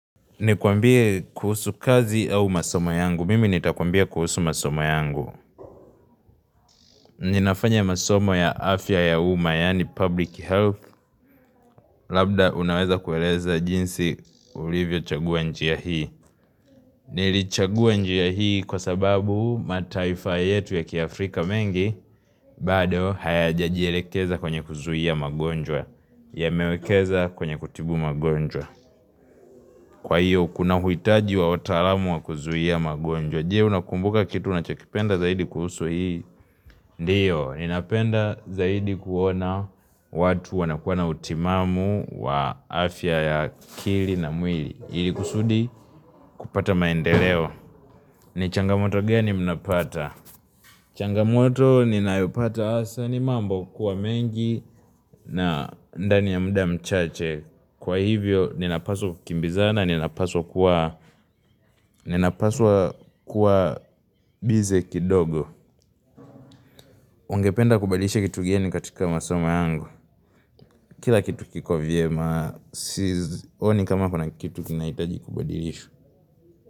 Nikwambie kuhusu kazi au masomo yangu. Mimi nitakwambia kuhusu masomo yangu. Ninafanya masomo ya afya ya umma yaani public health labda unaweza kueleza jinsi ulivyochagua njia hii. Nilichagua njia hii kwa sababu mataifa yetu ya kiafrika mengi bado hayajajielekeza kwenye kuzuia magonjwa yamewekeza kwenye kutibu magonjwa. Kwa hiyo kuna huitaji wa wataalamu wa kuzuia magonjwa. Je unakumbuka kitu unachokipenda zaidi kuhusu hii, Ndiyo ninapenda zaidi kuona watu wanakuwa na utimamu wa afya ya kili na mwili ili kusudi kupata maendeleo. Ni changamoto gani mnapata changamoto ninayopata hasa, ni mambo kuwa mengi na ndani ya mda mchache Kwa hivyo, ninapaswa kukimbizana, ninapaswa kuwa, ninapaswa kuwa busy kidogo. Ungependa kubadilishea kitu gani katika masomo yangu. Kila kitu kiko vyema, Sionini kama kuna kitu kinahitaji kubadilishwa.